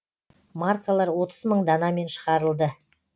маркалар отыз мың данамен шығарылды